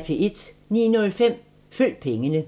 09:05: Følg pengene